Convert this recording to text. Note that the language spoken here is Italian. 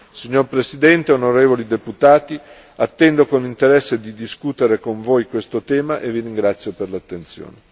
Signor Presidente, onorevoli deputati, attendo con interesse di discutere con voi questo tema e vi ringrazio per l'attenzione.